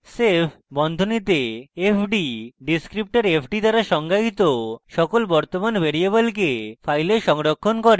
save বন্ধনীতে fd descriptor fd দ্বারা সংজ্ঞায়িত সকল বর্তমান ভ্যারিয়েবলকে file সংরক্ষণ করে